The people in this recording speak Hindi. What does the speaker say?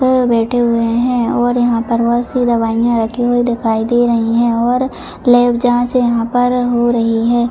वह बैठे हुए हैं और यहां पर बहुत सी दवाइयां रखी हुई दिखाई दे रही है और लेब जांच यहां पर हो रही है।